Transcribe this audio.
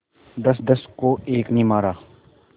दसदस को एक ने मारा